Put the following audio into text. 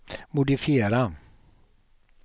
modifiera